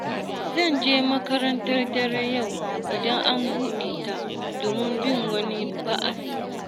Zan je makarantar dare yau idan an buɗe ta, domin bin wani ba'asi